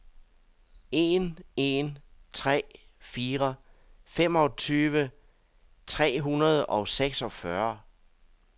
en en tre fire femogtyve tre hundrede og seksogfyrre